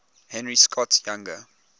henry scott's younger